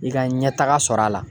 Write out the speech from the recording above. I ka ɲɛtaga sɔrɔ a la.